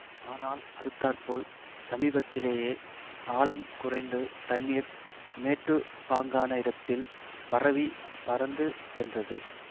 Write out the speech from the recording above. ஆனால் அடுத்தாற்போல் சமீபத்திலேயே ஆழம் குறைந்து தண்ணீர் மேட்டுப்பாங்கான இடத்தில் பரவிப் பரந்து சென்றது